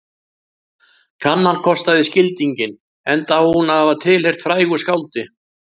Kannan kostaði skildinginn enda á hún að hafa tilheyrt frægu skáldi